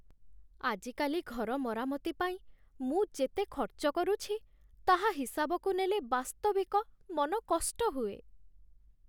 ଆଜିକାଲି ଘର ମରାମତି ପାଇଁ ମୁଁ ଯେତେ ଖର୍ଚ୍ଚ କରୁଛି, ତାହା ହିସାବକୁ ନେଲେ, ବାସ୍ତବିକ ମନ କଷ୍ଟ ହୁଏ।